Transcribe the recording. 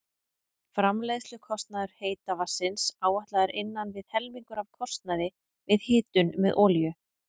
Framleiðslukostnaður heita vatnsins áætlaður innan við helmingur af kostnaði við hitun með olíu.